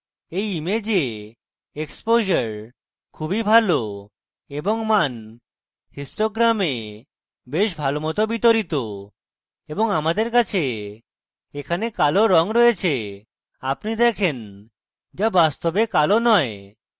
এই image exposure খুবই values এবং image histogram বেশ ভালোমত বিতরিত এবং আমাদের কাছে এখানে কালো রঙ রয়েছে আপনি দেখেন the বাস্তবে কালো নয়